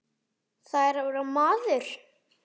Það er að vera maður.